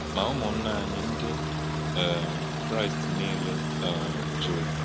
Ma ụmụnna anyị Ndị um Kraịst niile um jụrụ.